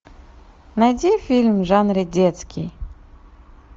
найди фильм в жанре детский